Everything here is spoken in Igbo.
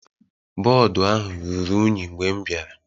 Bọọdụ ahụ ruru unyi mgbe m bịara.